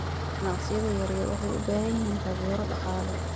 Ganacsiyada yaryar waxay u baahan yihiin taageero dhaqaale.